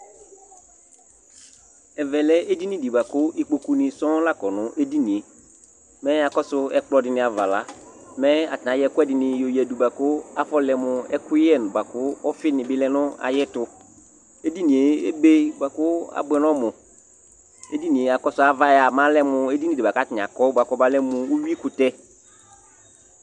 Ɛvɛ lɛ edini dɩ bʋa kʋ ikpokunɩ sɔŋ la kɔ nʋ edini yɛ Mɛ akɔsʋ ɛkplɔ dɩnɩ ava la, mɛ atanɩ ayɔ ɛkʋɛdɩnɩ yɔyǝdu kʋ afɔlɛ mʋ ɛkʋyɛ bʋa kʋ ɔfɩnɩ bɩ lɛ nʋ ayɛtʋ Edini yɛ ebe bʋa kʋ abʋɛ nʋ ɔmʋ Edini yɛ akɔsʋ ava yɛ a, mɛ ɔlɛ mʋ edini bʋa kʋ atanɩ akɔ bʋa kʋ ɔmalɛ mʋ uyuikʋtɛ